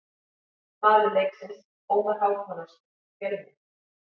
Maður leiksins: Ómar Hákonarson, Fjölnir.